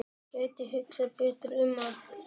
Gæti hugsað betur um hann.